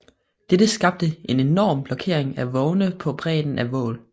Dette skabte en enorm blokkering af vogne på bredderne af Vaal